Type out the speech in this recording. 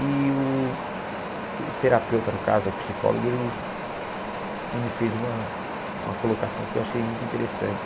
E o o terapeuta, no caso, o psicólogo, ele ele me fez uma uma colocação que eu achei muito interessante.